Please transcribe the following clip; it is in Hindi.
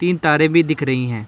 तीन तारें भी दिख रही हैं।